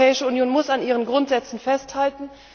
Die Europäische Union muss an ihren Grundsätzen festhalten.